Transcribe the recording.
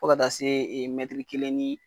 Fo ka taa se ,ee kelen ni